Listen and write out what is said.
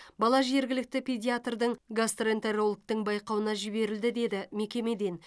бала жергілікті педиатрдың гастроэнтерологтың байқауына жіберілді деді мекемеден